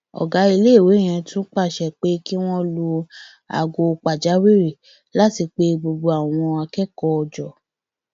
ọgá iléèwé yẹn tún pàṣẹ pé kí wọn lu aago pàjáwìrì láti pe gbogbo àwọn akẹkọọ jọ